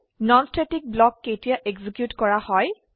non static block কেতিয়া execute কৰা হয়